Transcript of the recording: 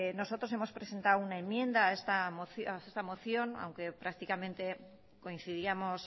nosotros hemos presentado una enmienda a esta moción aunque prácticamente coincidíamos